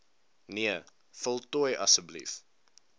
nee voltooi asb